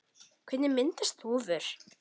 Hvernig myndast þúfur?